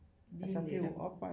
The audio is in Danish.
Lige netop